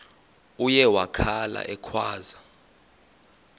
uye wakhala ekhwaza